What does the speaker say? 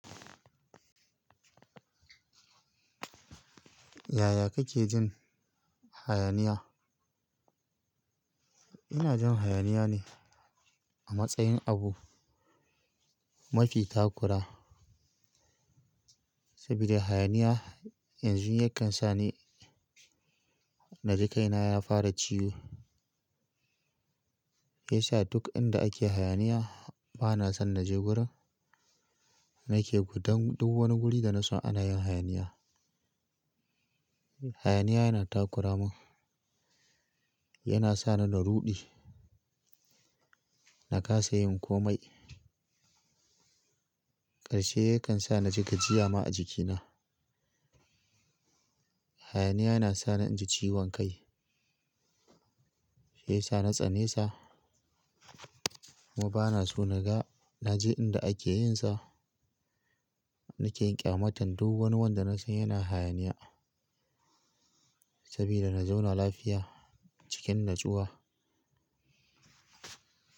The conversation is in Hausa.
Yaya kake jin hayaniya? Ina jin hayaniya ne a matsayin abu mafi takura, sabida hayaniya yanzu yakan sa ni naji kaina ya fara ciwo. Yasa duk inda ake hayaniya bana son na je wurin. Nake gudun duk wani guri da na san ana yin hayaniya. Hayaniya yana takuramin, yana sa ni na ruɗi, na kasa yin komai. Karshe yakan sa na ji gajiya ma a jikina. Hayaniya yana sa ni in ji ciwon kai, shi yasa na tsane sa kuma bana so naga, naji inda ake yin sa. Nake yin ƙyamata duk wani wanda na san yana hayaniya saboda na zauna lafiya cikin natsuwa.